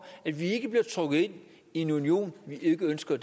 at vi ikke bliver trukket ind i en union vi ikke ønsker